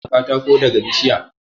Ana samun katako daga bishiya.